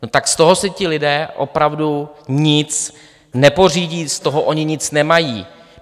No tak z toho si ti lidé opravdu nic nepořídí, z toho oni nic nemají.